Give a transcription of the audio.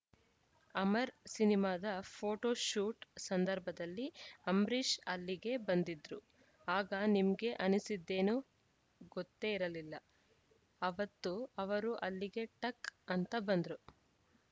ಅಮರ್‌ ಸಿನಿಮಾದ ಫೋಟೋಶೂಟ್‌ ಸಂದರ್ಭದಲ್ಲಿ ಅಂಬರೀಷ್‌ ಅಲ್ಲಿಗೆ ಬಂದಿದ್ರು ಆಗ ನಿಮ್ಗೆ ಅನಿಸಿದ್ದೇನು ಗೊತ್ತೇ ಇರಲಿಲ್ಲ ಅವತ್ತು ಅವರು ಅಲ್ಲಿಗೆ ಟಕ್‌ ಅಂತ ಬಂದ್ರು